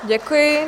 Děkuji.